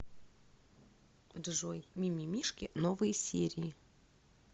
джой ми ми мишки новые серии